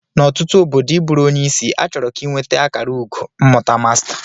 N'ọtụtụ obodo ị bụrụ onye isi, achọrọ ka ị nweta akara ugo mmụta masta